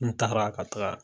N tagara ka taga